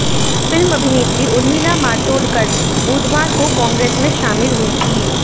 film अभिनेत्री उर्मिला मातोंडकर बुधवार को कांग्रेस में शामिल हुई थीं